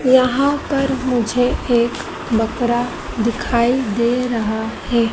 यहाँ पर मुझे एक बकरा दिखाई दे रहा हैं।